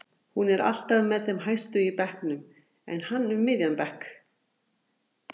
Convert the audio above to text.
Hún er alltaf með þeim hæstu í bekknum en hann um miðjan bekk.